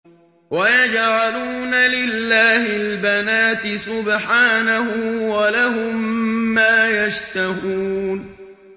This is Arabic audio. وَيَجْعَلُونَ لِلَّهِ الْبَنَاتِ سُبْحَانَهُ ۙ وَلَهُم مَّا يَشْتَهُونَ